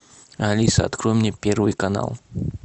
алиса открой мне первый канал